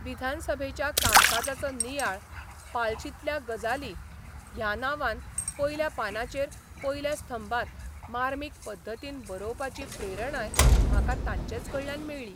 विधानसभेच्या कामकाजाचो नियाळ 'पालाशीतल्या गजाली 'ह्या नांवान पयल्या पानाचेर पयल्या स्तंभांत मार्मीक पद्दतीन बरोवपाची प्रेरणाय म्हाका तांचेच कडल्यान मेळ्ळी.